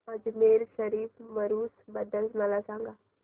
अजमेर शरीफ उरूस बद्दल मला सांग